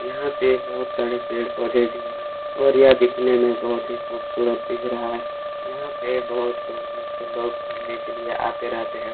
यहाँ पे बहुत सारे पेड़ पौधे भी हैं और यह दिखने में बहुत ही खुबसुरत दिख रहा है यहाँ पे बहुत दूर दूर से लोग घुमने के लिए आते रहते है।